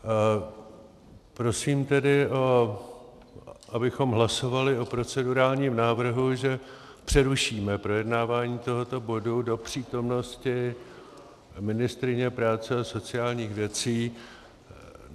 Prosím tedy, abychom hlasovali o procedurálním návrhu, že přerušíme projednávání tohoto bodu do přítomnosti ministryně práce a sociálních věcí.